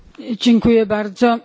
Panie Przewodniczący!